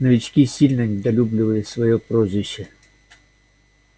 новички сильно недолюбливали своё прозвище